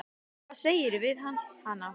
Hvað sagðirðu við hana?